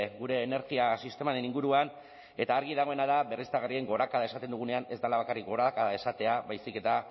gure energia sistemaren inguruan eta argi dagoena da berriztagarrien gorakada esaten dugunean ez dela bakarrik gorakada esatea baizik eta